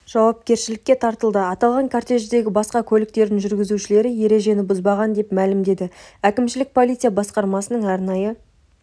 жауапкершілікке тартылды аталған кортеждегі басқа көліктердің жүргізушілері ережені бұзбаған деп мәлімдеді әкімшілік полиция басқармасының арнайы